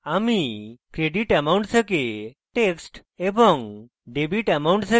আমি creditamount থেকে text